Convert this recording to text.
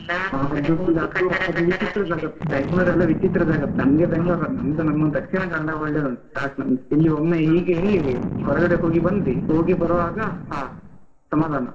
ಬೆಂಗಳೂರೆಲ್ಲಾ ವಿಚಿತ್ರ ಜಗತ್ತು, ನಮ್ಗೆ ಬೆಂಗಳೂರ ನಮ್ದು ನಮ್ಮ ದಕ್ಷಿಣ ಕನ್ನಡ ಒಳ್ಳೆದುಂಟು ಸಾಕ್ ನಮಗೆ, ಇಲ್ಲಿ ಒಮ್ಮೆ ಹೀಗೆ ಹೊರಗಡೆ ಹೋಗಿ ಬಂದ್ವಿ ಹೋಗಿ ಬರುವಾಗ ಹಾ ಸಮಾಧಾನ.